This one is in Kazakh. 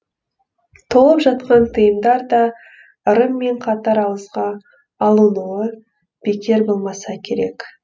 толып жатқан тыйымдар да ырыммен қатар ауызға алынуы бекер болмаса керек